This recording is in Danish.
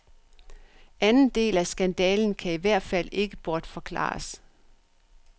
Anden del af skandalen kan i hvert fald ikke bortforklares.